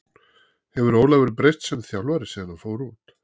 Hefur Ólafur breyst sem þjálfari síðan hann fór út?